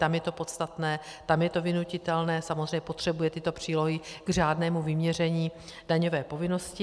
Tam je to podstatné, tam je to vynutitelné, samozřejmě potřebuje tyto přílohy k řádnému vyměření daňové povinnosti.